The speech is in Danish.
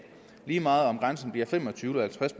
lige meget om grænsen bliver fem og tyve eller halvtreds